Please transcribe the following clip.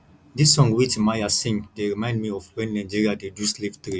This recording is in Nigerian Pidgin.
this song wey timaya sing dey remind me of wen nigeria dey do slave trade